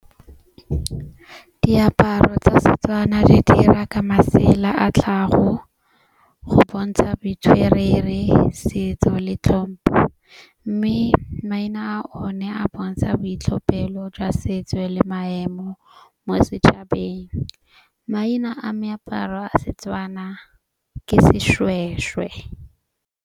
Diaparo tsa Setswana di dira ka masela a tlhago go bontsha boitshwerere, setso le tlhompho. Mme maena o na a bontsha boitlhophelo jwa setso le maemo mo setšhabeng. Maina a meaparo a Setswana ke seshweshwe.